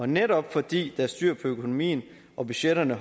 netop fordi der er styr på økonomien og budgetterne